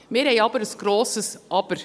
Wir haben aber ein grosses Aber.